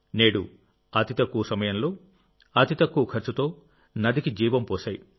నేడు అతి తక్కువ సమయంలో అతి తక్కువ ఖర్చుతో నదికి జీవం పోశాయి